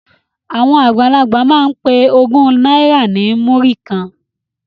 Àwọn àgbàlagbà máa ń pe ogún náírà ní múrí kan